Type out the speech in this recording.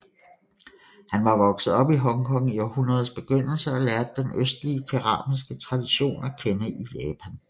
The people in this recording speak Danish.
Han var vokset op i Hong Kong i århundredets begyndelse og lærte den østlige keramiske tradition at kende i Japan